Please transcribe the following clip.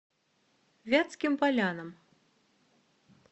вятским полянам